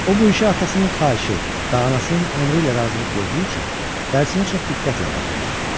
O bu işə atasının xahişi və anasının əmri ilə razılıq verdiyi üçün dərsinə çox diqqətlə baxırdı.